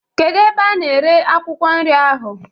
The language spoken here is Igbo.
Kedu ebe a na-ere akwụkwọ nri ahụ?